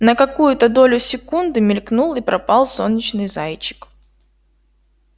на какую-то долю секунды мелькнул и пропал солнечный зайчик